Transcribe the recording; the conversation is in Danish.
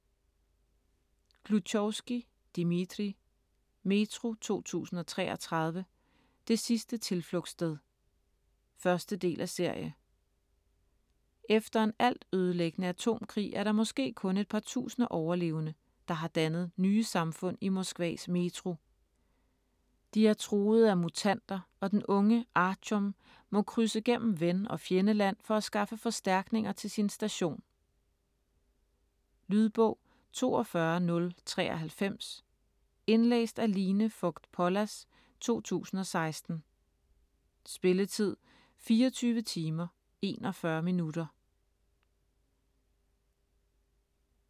Gluchovskij, Dmitrij: Metro 2033: det sidste tilflugtssted 1. del af serie. Efter en altødelæggende atomkrig er der måske kun et par tusinde overlevende, der har dannet nye samfund i Moskvas Metro. De er truet af mutanter, og den unge Artjom må krydse gennem ven- og fjendeland for at skaffe forstærkninger til sin station. Lydbog 42093 Indlæst af Line Fogt Pollas, 2016. Spilletid: 24 timer, 41 minutter.